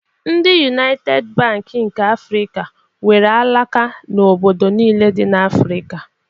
Ndị Yunaited Bank nke Afrịka nwere alaka na obodo niile dị n'Afrịka.